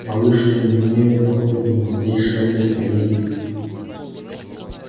боюсь что не имею об этом ни малейшего представления